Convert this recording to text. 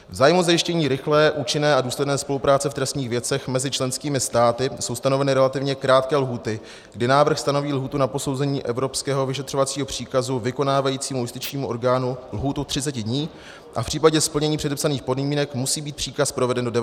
V zájmu zajištění rychlé, účinné a důsledné spolupráce v trestních věcech mezi členskými státy jsou stanoveny relativně krátké lhůty, kdy návrh stanoví lhůtu na posouzení evropského vyšetřovacího příkazu vykonávajícímu justičnímu orgánu lhůtu 30 dní a v případě splnění předepsaných podmínek musí být příkaz proveden do 90 dnů.